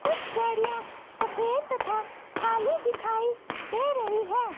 कुछ गाड़ियां सफेद तथा काली दिखाई दे रही हैं।